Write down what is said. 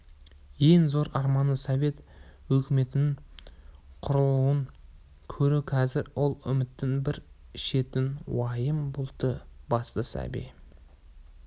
ең зор арманы совет өкіметінің құрылуын көру қазір ол үміттің бір шетін уайым бұлты басты сәби